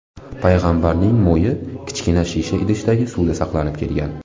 Payg‘ambarning mo‘yi kichkina shisha idishdagi suvda saqlanib kelgan.